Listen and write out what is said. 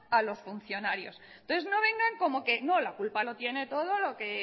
a los funcionarios entonces no vengan como que no la culpa la tiene todo lo que